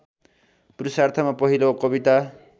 पुरुषार्थमा पहिलो कविता